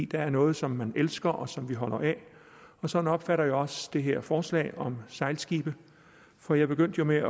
der er noget som man elsker og som man holder af og sådan opfatter jeg også det her forslag om sejlskibe for jeg begyndte jo med